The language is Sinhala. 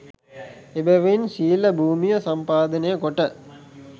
එබැවින් ශීල භූමිය සම්පාදනය කොට